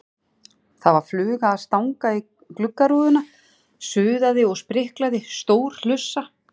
Það var fluga að stanga í gluggarúðuna, suðaði og spriklaði, stór hlussa.